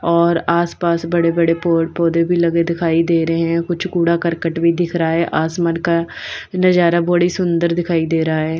और आसपास बड़े-बड़े पौड़ पौधे भी लगे दिखाई दे रहे हैं कुछ कूड़ा करकट भी दिख रहा है आसमान का नजारा बड़ी सुंदर दिखाई दे रहा है।